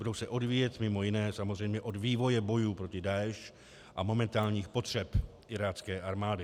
Budou se odvíjet mimo jiné samozřejmě od vývoje bojů proti Daeš a momentálních potřeb irácké armády.